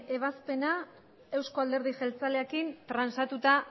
ebazpena euzko alderdi jeltzalearekin transatuta